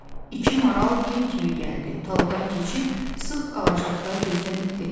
İki maral yel kimi gəldi, taladan keçib sıx ağaclıqda gözdən itdi.